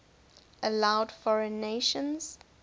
allowed foreign nations